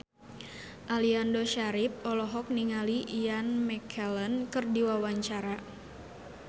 Aliando Syarif olohok ningali Ian McKellen keur diwawancara